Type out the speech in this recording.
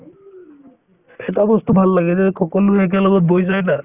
এটা বস্তু ভাল লাগে যে সকলোয়ে একেলগত বহি চাই না